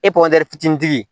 fitinintigi